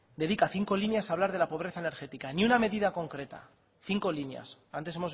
dedica cinco líneas a hablar de la pobreza energética ni una medida concreta cinco líneas antes